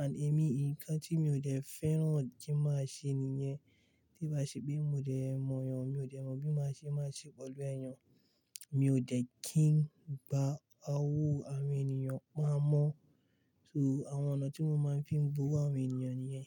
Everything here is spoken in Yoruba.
And èmi nǹkan tí mi ò dẹ́ fẹ́ràn kí n máa ṣe nìyẹn. Bí bá ṣe pé mi ò dẹ́ mọ̀ yàn, mi ò dẹ́ mọ̀ bí mo ṣe máa ṣe pẹ̀lú ẹ́yan. Mi ò dẹ́ kí ń gba owó àwọn ènìyàn pamọ́. So àwọn ọ̀nà tí mo máa ń fi n gbowó àwọn ènìyàn nìyẹn.